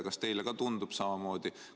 Kas teile ka tundub samamoodi?